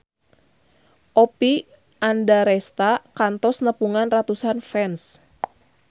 Oppie Andaresta kantos nepungan ratusan fans